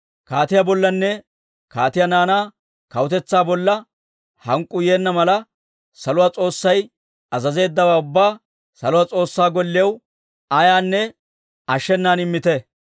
Kaatiyaa bollanne kaatiyaa naanaa kawutetsaa bolla hank'k'uu yeenna mala, saluwaa S'oossay azazeeddawaa ubbaa saluwaa S'oossaa Golliyaw ayaanne ashshenan immite.